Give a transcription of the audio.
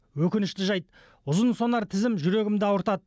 өкінішті жайт ұзынсонар тізім жүрегімді ауыртады